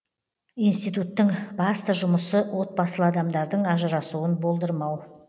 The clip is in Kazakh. институттың басты жұмысы отбасылы адамдардың ажырасуын болдырмау